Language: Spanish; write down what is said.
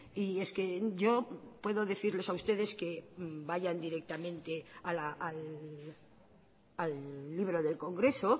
y es que yo puedo decirles a ustedes que vayan directamente al libro del congreso